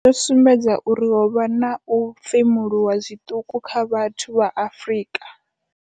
Yo sumbedza uri ho vha na u femuluwa zwiṱuku kha vhathu vha Afrika.